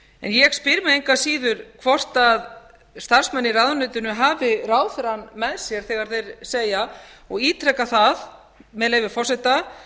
ég spyr mig engu að síður hvort starfsmenn í ráðuneytinu hafi ráðherrann með sér þegar þeir segja og ítreka það með leyfi forseta